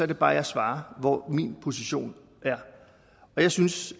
det bare jeg svarer hvor min position er og jeg synes